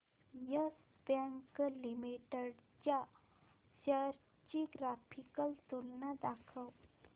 yes Bank Limited च्या shares ची graphical तुलना दाखव